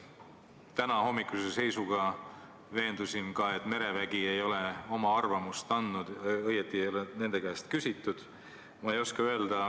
Tänahommikuse seisuga veendusin ka, et merevägi ei ole oma arvamust andnud, õieti ei ole nende käest küsitudki.